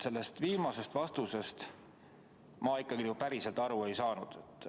Sellest viimasest vastusest ma ikkagi päriselt aru ei saanud.